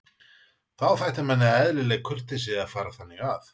Þá þætti manni eðlileg kurteisi að fara þannig að.